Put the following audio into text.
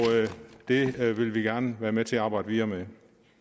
det vil vi gerne være med til at arbejde videre med